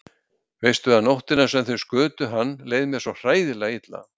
Veistu að nóttina sem þeir skutu hann leið mér svo hræðilega illa.